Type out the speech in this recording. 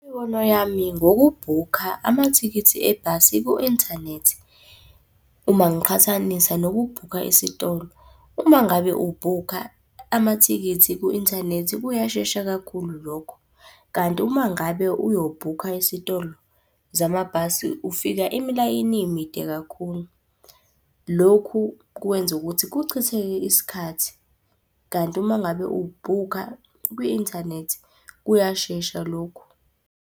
Imibono yami ngokubhukha amathikithi ebhasi ku-inthanethi, uma ngiqhathanisa nokubhukha esitolo. Uma ngabe ubhukha amathikithi ku-inthanethi kuyashesha kakhulu lokho. Kanti uma ngabe uyobhukha esitolo zamabhasi ufika imilayini imide kakhulu. Lokhu kwenza ukuthi kuchitheke isikhathi, kanti uma ngabe ubhukha kwi-inthanethi kuyashesha lokhu.